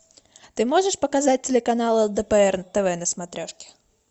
ты можешь показать телеканал лдпр тв на смотрешке